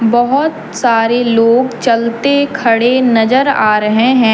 बहुत सारे लोग चलते खड़े नजर आ रहे हैं।